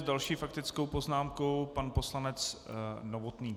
S další faktickou poznámkou pan poslanec Novotný.